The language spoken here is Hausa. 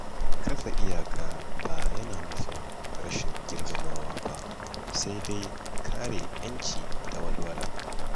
Kafa iyaka ba yana nufin rashin girmamawa ba, sai dai kare ‘yanci da walwala.